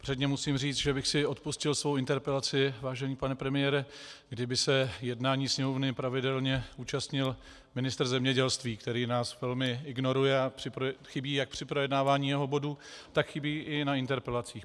Předně musím říct, že bych si odpustil svou interpelaci, vážený pane premiére, kdyby se jednání Sněmovny pravidelně účastnil ministr zemědělství, který nás velmi ignoruje a chybí jak při projednávání jeho bodů, tak chybí i na interpelacích.